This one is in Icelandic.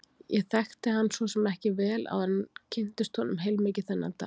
Ég þekkti hann svo sem ekki vel áður en kynntist honum heilmikið þennan dag.